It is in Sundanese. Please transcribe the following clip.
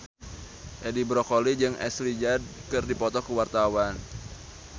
Edi Brokoli jeung Ashley Judd keur dipoto ku wartawan